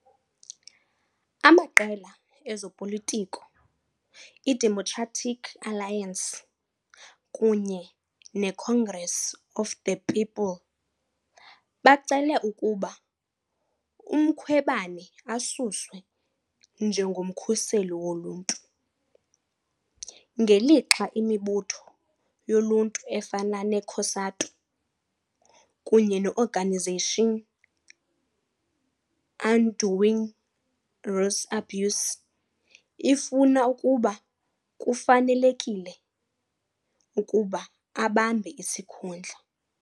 Amaqela ezopolitiko iDemocratic Alliance kunye neCongress of the People bacele ukuba uMkhwebane asuswe njengoMkhuseli Woluntu ngelixa imibutho yoluntu efana ne- COSATU kunye ne- Organisation Undoing Reuse Abuse ifuna ukuba kufanelekile ukuba abambe isikhundla.